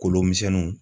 Kolomisɛnninw